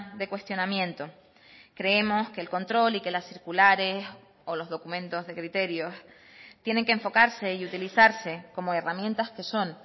de cuestionamiento creemos que el control y que las circulares o los documentos de criterios tienen que enfocarse y utilizarse como herramientas que son